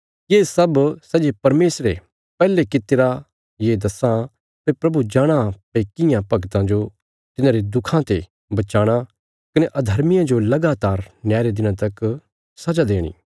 ये सब सै जे परमेशरे पैहले कित्तिरा ये दस्सां भई प्रभु जाणाँ भई कियां भगतां जो तिन्हांरे दुखां ते बचाणा कने अधर्मियां जो लगातार न्याय रे दिना तक सजा देणी